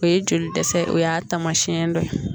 O ye joli dɛsɛ o y'a taamasiyɛn dɔ ye